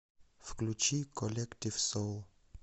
включи коллектив соул